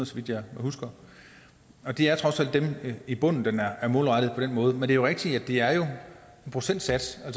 så vidt jeg husker og det er trods alt dem i bunden den er er målrettet på den måde men det er jo rigtigt at det er en procentsats og